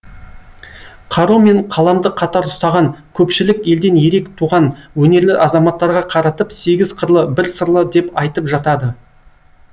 қару мен қаламды қатар ұстаған көпшілік елден ерек туған өнерлі азаматтарға қаратып сегіз қырлы бір сырлы деп айтып жатады